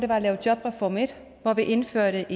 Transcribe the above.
var at lave jobreform en hvor vi indførte